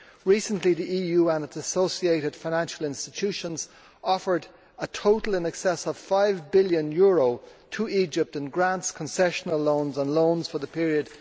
Recently, the EU and its associated financial institutions offered a total in excess of EUR 5 billion to Egypt in grants, concessional loans and loans for the period